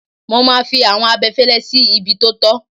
Mo máa fi àwọn abẹfẹ́lẹ́ sí ibi tó tọ́.